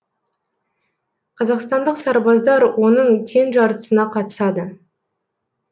қазақстандық сарбаздар оның тең жартысына қатысады